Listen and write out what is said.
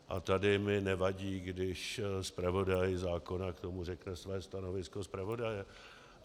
A tady mi nevadí, když zpravodaj zákona k tomu řekne své stanovisko zpravodaje.